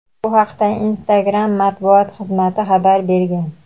Bu haqda Instagram matbuot xizmati xabar bergan.